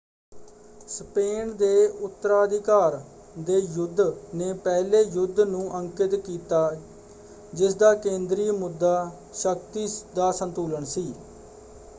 Spain ਦੇ ਉੱਤਰਾਧਿਕਾਰ ਦੇ ਯੁੱਧ ਨੇ ਪਹਿਲੇ ਯੁੱਧ ਨੂੰ ਅੰਕਿਤ ਕੀਤਾ ਜਿਸਦਾ ਕੇਂਦਰੀ ਮੁੱਦਾ ਸ਼ਕਤੀ ਦਾ ਸੰਤੁਲਨ ਸੀ।